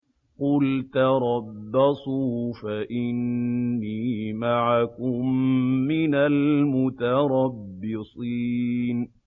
قُلْ تَرَبَّصُوا فَإِنِّي مَعَكُم مِّنَ الْمُتَرَبِّصِينَ